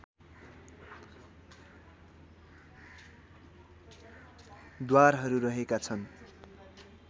द्वारहरू रहेका छन्